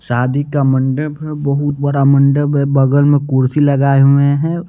शादी का मंडप है बहुत बड़ा मंडप है बगल में कुर्सी लगाए हुए हैं।